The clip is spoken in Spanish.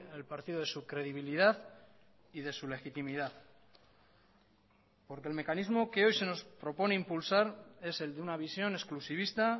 el partido de su credibilidad y de su legitimidad porque el mecanismo que hoy se nos propone impulsar es el de una visión exclusivista